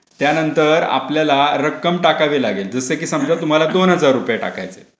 त्यानंतर आपल्याला रक्कम टाकावी लागेल. जसे की समजा तुम्हाला दोन हजार रुपये टाकायचे.